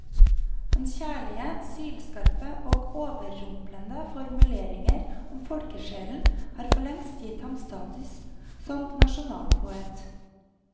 Hans kjærlige, sylskarpe og overrumplende formuleringer om folkesjelen har forlengst gitt ham status som nasjonalpoet.